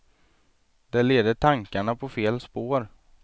Det leder tankarna på fel spår.